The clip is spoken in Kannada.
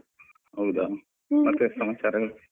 ಹೌದಾ ಮತ್ತೆ ಸಮಾಚಾರ ಎಲ್ಲಾ?